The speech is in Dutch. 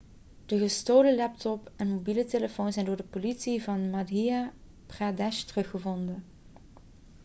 de gestolen laptop en mobiele telefoon zijn door de politie van madhya pradesh teruggevonden